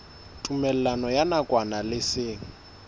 tumellano ya nakwana le seng